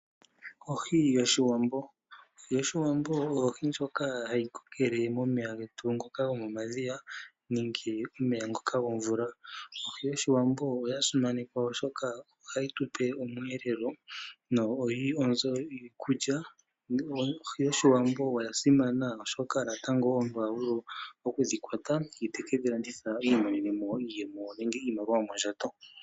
Ohi yoshiwambo, ohi yoshiwambo oyo ohi ndjoka hayikokele momeya getu ngoka gomomadhiya nenge omeya ngoka gomvula. Ohi yoshiwambo oyasimanekwa oshoka ohayi tupe omweelelo na oyili onzo yiikulya. Ohi yoshiwambo oyasimana oshoka natango omuntu ohavulu okudhikwata ye tekedhi landitha iimonenemo iiyemo nenge iimaliwa yomondjato.